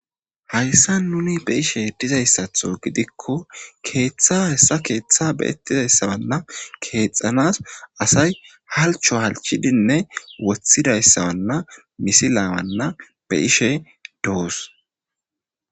Hayssa nuni be ishe dizayssatho gidikko keeththa hessa keeththa be ettizayssawanna keexxanas asay halcho halchidinne woththidayssawanna misilaawanna be ishe doos.